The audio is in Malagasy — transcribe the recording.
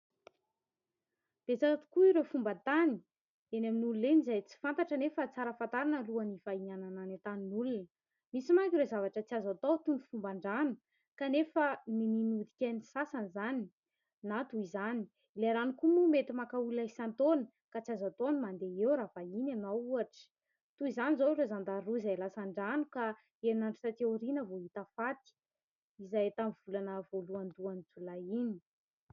Betsaka tokoa ireo fomban-tany eny amin'n'olona eny izay tsy fantatra anefa tsara fantarina alohan'ny hivahinianana any an-tanin'olona, misy manko ireo zavatra tsy azo atao toy ny fomban-drano kanefa niniana nodikain'ny sasany izany na toy izany, ilay rano koa moa mety maka olona isan-taona ka tsy azo atao ny mandeha eo raha vahiny ianao ohatra, toy izany izao ireo zandary roa izay lasan-drano ka enina andro taty aoriana vao hita faty izay tamin'ny volana voalohandohan'ny Jolay iny.